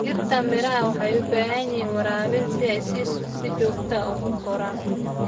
Dhirta miraha waxay u baahan yihiin waraabinta joogtada ah si ay si fiican u koraan.